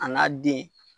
A n'a den